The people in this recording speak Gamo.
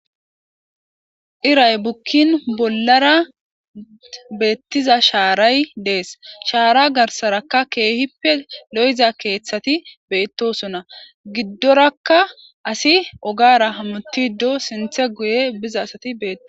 iray bukkin bollara beettiza shaaray dees shaara garsarakka keehippe lo7za keeththati beettosona giddorakka asi ogara hamutido sinthe guye biza asati betto